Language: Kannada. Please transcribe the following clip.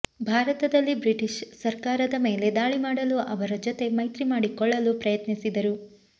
ಭಾರತದಲ್ಲಿ ಬ್ರಿಟಿಷ್ ಸರಕಾರದ ಮೇಲೆ ದಾಳಿ ಮಾಡಲು ಅವರ ಜೊತೆ ಮೈತ್ರಿ ಮಾಡಿಕೊಳ್ಳಲು ಪ್ರಯತ್ನಿಸಿದರು